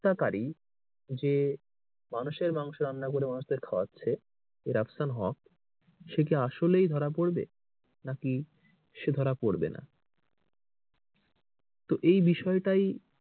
হত্যাকারী যে মানুষের মাংস রান্না করে মানুষদের কে খাওয়াচ্ছে এ রাফসান হক সে কি আসলেই ধরা পড়বে নাকি সে ধরা পড়বে না। তো এই বিষয়টাই,